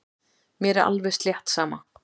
Mér er alveg slétt sama.